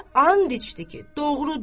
Və and içdi ki, doğrudur.